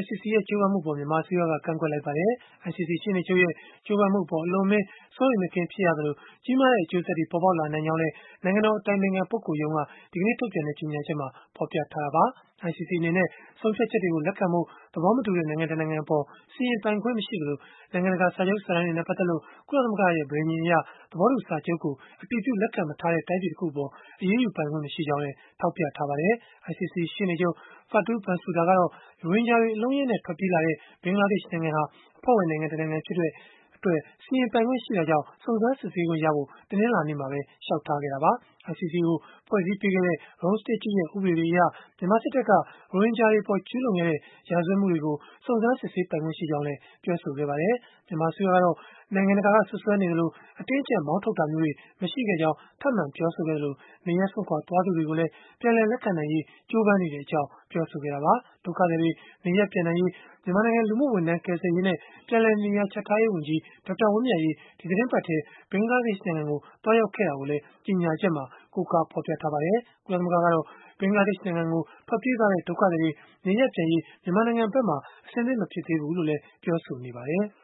(ICC) ရဲ့ ကြိုးပမ်းမှုအပေါ် မြန်မာအစိုးရက ကန့်ကွက်လိုက်ပါတယ်။ ICC ရှေ့နေချုပ်ရဲ့ ကြိုးပမ်းမှုအပေါ် အလွန်အမင်း စိုးရိမ်မကင်း ဖြစ်ရသလို၊ ကြီးမားတဲ့ အကျိုးဆက်တွေ ပေါ်ပေါက်လာနိုင်ကြောင်းလည်း နိုင်ငံတော် အတိုင်ပင်ခံပုဂ္ဂိုလ်ရုံးက ဒီကနေ့ ထုတ်ပြန်တဲ့ ကြေညာချက်မှာ ဖော်ပြခဲ့တာပါ။ ICC အနေနဲ့ ဆုံးဖြတ်ချက်တွေကို လက်ခံဖို့ သဘောမတူတဲ့ နိုင်ငံတနိုင်ငံ အပေါ် စီရင်ပိုင်ခွင့်မရှိသလို၊ နိုင်ငံတကာ စာချုပ်စာတမ်းတွေနဲ့ ပတ်သက်လို့ ကုလသမဂ္ဂရဲ့ ပဋိဉာဏ်အရ သဘောတူစာချုပ်ကို အတည်ပြုလက်ခံ မထားတဲ့ တိုင်းပြည်တခုအပေါ် အရေးယူပိုင်ခွင့် မရှိကြောင်းလည်း ထောက်ပြထားပါတယ်။ ICC ရှေ့နေချုပ် Fatou Bensouda ကတော့ ရိုဟင်ဂျာတွေ အလုံးအရင်းနဲ့ ထွက်ပြေးလာတဲ့ ဘင်္ဂလားဒေ့ရှ်နိုင်ငံဟာ အဖွဲ့ဝင်နိုင်ငံဖြစ်တဲ့အတွက် စီရင်ပိုင်ခွင့်ရှိတာကြောင့် စုံစမ်းစစ်ဆေးခွင့်ရဖို့ တနင်္လာနေ့မှာပဲ လျှောက်ထားခဲ့တာပါ။ ICC ကို ဖွဲ့စည်းပေးခဲ့တဲ့ Rome Statue ရဲ့ ဥပဒေတွေအရ မြန်မာစစ်တပ်က ရိုဟင်ဂျာတွေအပေါ် ကျုးလွန်ခဲ့တဲ့ ရာဇဝတ်မှုတွေကို စုံစမ်းစစ်ဆေးပိုင်ခွင့်ရှိကြောင်းလည်း ပြောဆိုခဲ့ပါတယ်။ မြန်မာအစိုးရကတော့ နိုင်ငံတကာက စွပ်စွဲနေသလို အတင်းအကျပ် မောင်းထုတ်တာမျိုးတွေ မရှိခဲ့ကြောင်း ထပ်မံပြောဆိုခဲ့သလို၊ နေရပ်စွန့်ခွာ သွားသူတွေကိုလည်း ပြန်လည်လက်ခံနိုင်ရေး ကြိုးပမ်းနေတဲ့အကြောင်း ပြောဆိုခဲ့တာပါ။ ဒုက္ခသည်တွေ နေရပ်ပြန်နိုင်ရေး မြန်မာနိုင်ငံ လူမှုဝန်ထမ်း၊ ကယ်ဆယ်ရေးနဲ့ ပြန်လည်နေရာချထားရေးဝန်ကြီး ဒေါက်တာဝင်းမြတ်အေး ဒီသီတင်းပတ်ထဲ ဘင်္ဂလားဒေ့ရှ်နိုင်ငံကို သွားရောက်ခဲ့တာကိုလည်း ကြေညာချက်မှာ ကိုးကားဖော်ပြထားပါတယ်။ ကုလသမဂ္ဂကတော့ ဘင်္ဂလားဒေ့ရှ်နိုင်ငံကို ထွက်ပြေးသွားတဲ့ ဒုက္ခသည်တွေ နေရပ်ပြန်ရေး မြန်မာနိုင်ငံဘက်က အဆင်သင့်မဖြစ်သေးဘူးလို့လည်း ပြောဆိုနေပါတယ်။